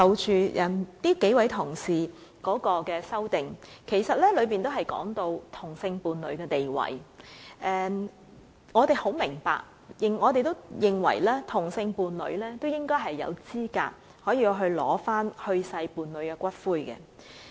數位同事提出的修正案的內容均提及同性伴侶的地位，我們明白也認同同性伴侶應有資格領取去世伴侶的骨灰。